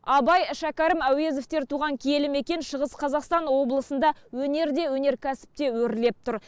абай шәкәрім әуезовтер туған киелі мекен шығыс қазақстан облысында өнер де өнеркәсіп те өрлеп тұр